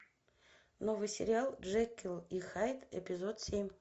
новый сериал джекилл и хайд эпизод семь